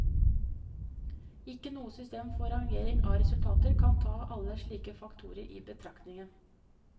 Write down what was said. Ikke noe system for rangering av resultater kan ta alle slike faktorer i betraktning.